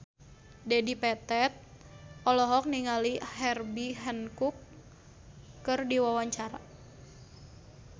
Dedi Petet olohok ningali Herbie Hancock keur diwawancara